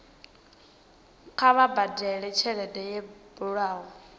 kha vha badele tshelede yo bulwaho